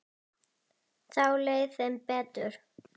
Þá leið þeim betur